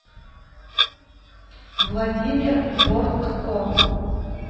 владимир бортко